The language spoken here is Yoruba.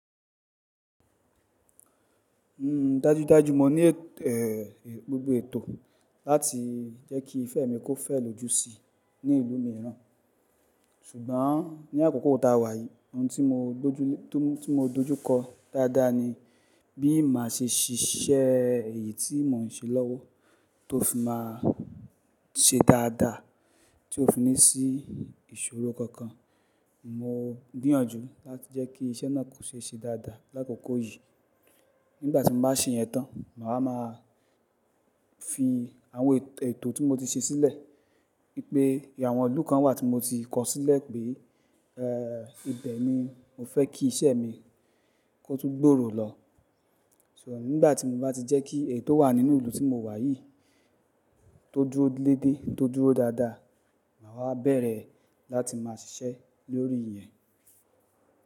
Dajudaju mo ní, gbogbo ètò láti jẹ́ kí ìfẹ́ mi kó fẹ́ lójú sí i ní ìlú mìíràn. Ṣùgbọ́n ní àkókò ta wà yí ohun tí mo dojú, tí mo dojú kọ dáadáa ni bí màá ṣe ṣíṣẹ́ èyí tí mo ń ṣe lọ́wọ́ tó fi máa ṣe dáadáa tí ó fi ní sí ìṣòro kankan. Mo gbìyànjú láti jẹ́ kí iṣẹ́ náà kó ṣe dáadáa lákòókò yìí. Nígbà tí mo bá ṣe yẹn tán, màá máa fi àwọn ètò tí mo ti ṣe sílẹ̀ wípé ìyàwọn ilú kan wà tí mo ti kọ sílẹ̀ pé, ibẹ̀ ni mo fẹ́ kí iṣẹ́ mi kó tún gbòòrò lọ. So nígbà tí mo bá ti jẹ́ kí èyí tó wà nínú ìlú tí mo wà yìí tó dúró léde, tó dúró dáadáa, màá wa bẹ̀rẹ̀ láti máa ṣiṣẹ́ lórí ìyẹn.